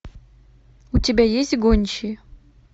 у тебя есть гончие